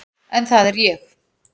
En það er ég.